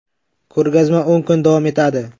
Ko‘rgazma o‘n kun davom etadi.